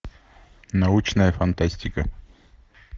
научная фантастика